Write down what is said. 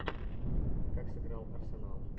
как сыграл арсенал